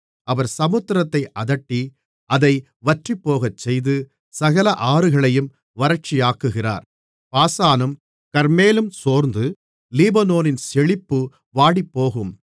அவர் சமுத்திரத்தை அதட்டி அதை வற்றிப்போகச்செய்து சகல ஆறுகளையும் வறட்சியாக்குகிறார் பாசானும் கர்மேலும் சோர்ந்து லீபனோனின் செழிப்பு வாடிப்போகும்